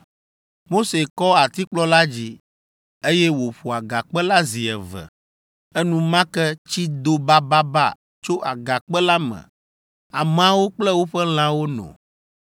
Mose kɔ atikplɔ la dzi, eye wòƒo agakpe la zi eve. Enumake tsi do bababa tso agakpe la me ameawo kple woƒe lãwo no.